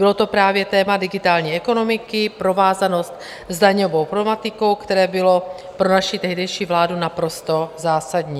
Bylo to právě téma digitální ekonomiky, provázanost s daňovou problematikou, které bylo pro naši tehdejší vládu naprosto zásadní.